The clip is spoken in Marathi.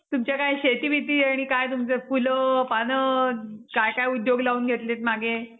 तुमच्या काय शेती बीती आणि काय तुमचं फुल पानं काय काय उद्योग लावून घेतलेत मागे?